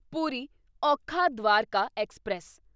Puri Okha Dwarka express